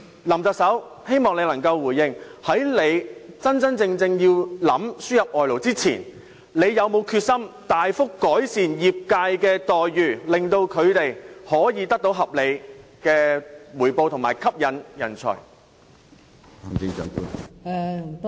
林特首，希望你能夠回應，在你認真要輸入外勞前，你是否有決心大幅改善業界的待遇，令他們可以得到合理的回報及吸引人才？